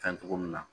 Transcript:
Fɛn togo min na